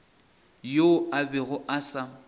yoo a bego a sa